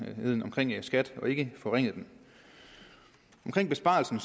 omkring skat end forringede den omkring besparelsen